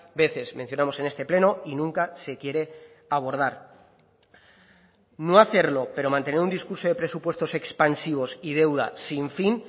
veces mencionamos en este pleno y nunca se quiere abordar no hacerlo pero mantener un discurso de presupuestos expansivos y deuda sin fin